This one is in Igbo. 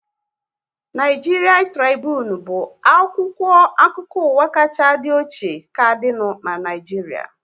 Naịjiria Tribunu bụ akwụkwọ akụkọ ụwa kachaa dị ochie ka dịnu n'Naijiria